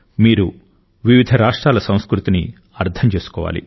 మీరు వివిధ రాష్ట్రాల సంస్కృతిని అర్థం చేసుకోవాలి